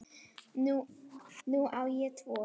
Nú á ég tvo